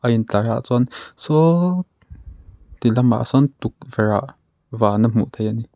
in tlar ah chuan saw ti lamah sawn tukverh ah van a hmuh theih ani.